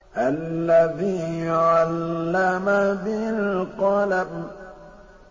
الَّذِي عَلَّمَ بِالْقَلَمِ